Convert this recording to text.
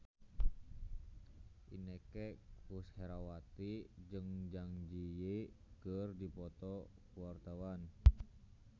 Inneke Koesherawati jeung Zang Zi Yi keur dipoto ku wartawan